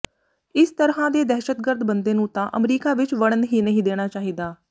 ਇਸ ਤਰ੍ਹਾਂ ਦੇ ਦਹਿਸ਼ਤਗਰਦ ਬੰਦੇ ਨੂੰ ਤਾਂ ਅਮਰੀਕਾ ਵਿੱਚ ਵੜਨ ਹੀ ਨਹੀਂ ਦੇਣਾ ਚਾਹੀਦਾ